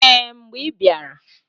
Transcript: Ee! Mgbe i bịara.